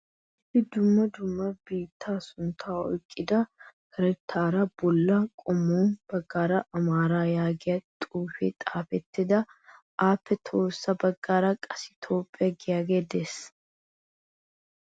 Issi dumma dumma biittaa sunttaa oyqqida karttaa bollan qommo baggaara Amaaraa yaagiya xuufee xaafettin appe tohossa baggaara qassi Toophphiya giyagee de'ees.